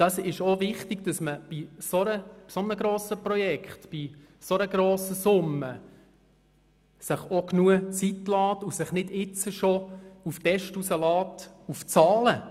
Es ist auch wichtig, sich bei einem dermassen grossen Projekt, bei einer so hohen Summe genügend Zeit zu lassen und sich nicht jetzt bereits in Bezug auf die Zahlen aus dem Fenster zu lehnen.